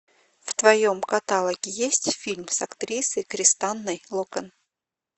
в твоем каталоге есть фильм с актрисой кристанной локен